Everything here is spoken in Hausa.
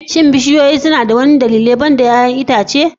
Shin bishiyoyi suna da wasu dalilai banda 'ya'yan itace?